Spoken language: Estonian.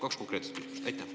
Kaks konkreetset küsimust.